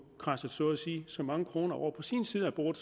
kradset så mange kroner over på sin side af bordet